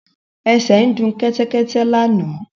Ẹsẹ ń du Kẹ́tẹ́kẹ́tẹ́ lànà.